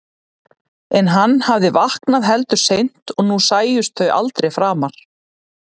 En hann hafði vaknað heldur seint og nú sæjust þau aldrei framar.